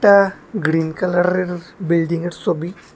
আ green কালার্রের building এর ছবি।